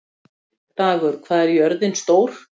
Dagur, hvað er jörðin stór?